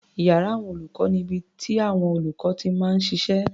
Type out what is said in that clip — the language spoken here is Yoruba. Iyàrá àwọn olùkọ́ ni ibi tíàwọn olùkọ́ ti máa ń ṣiṣẹ́.